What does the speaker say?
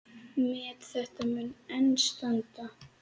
Met þetta mun enn standa.